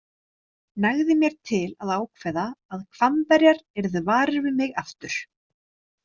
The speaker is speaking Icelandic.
Nægði mér til að ákveða að Hvammverjar yrðu varir við mig aftur.